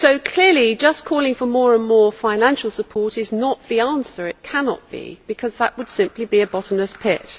Clearly, just calling for more and more financial support is not the answer it cannot be, because that would simply be a bottomless pit.